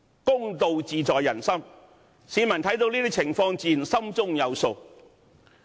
公道自在人心，市民看到這些情況，自然心中有數。